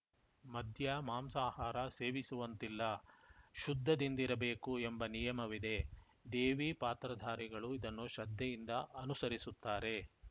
ಮದ್ಯ ಮಾಂಸಾಹಾರ ಸೇವಿಸುವಂತಿಲ್ಲ ಶುದ್ಧದಿಂದಿರಬೇಕು ಎಂಬ ನಿಯಮವಿದೆ ದೇವಿ ಪಾತ್ರಧಾರಿಗಳು ಇದನ್ನು ಶ್ರದ್ಧೆಯಿಂದ ಅನುಸರಿಸುತ್ತಾರೆ